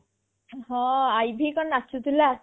ହଁ IV କଣ ନାଚୁ ଥିଲା